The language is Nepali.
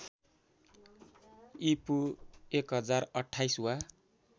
ईपू १०२८ वा